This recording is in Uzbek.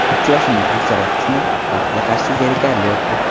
Uchrashuvning aksariyat qismi, baxtga qarshi, zerikarli o‘tdi.